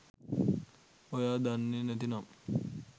ඔයා දන්නේ නැතිනම්